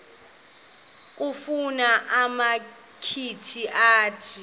kufuna umakhi akhe